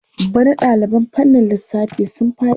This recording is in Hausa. Bana ɗaliban fannin lissafi sun faɗi.